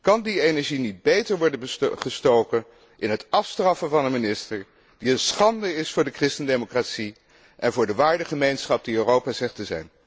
Kan die energie niet beter worden gestoken in het afstraffen van een minister die een schande is voor de christendemocratie en voor de waardengemeenschap die Europa zegt te zijn.